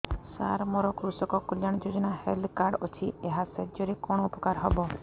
ସାର ମୋର କୃଷକ କଲ୍ୟାଣ ଯୋଜନା ହେଲ୍ଥ କାର୍ଡ ଅଛି ଏହା ସାହାଯ୍ୟ ରେ କଣ ଉପକାର ହବ